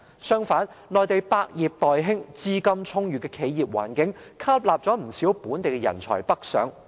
相反，內地百業待興，資金充裕的企業環境，吸納了不少本地人才北上。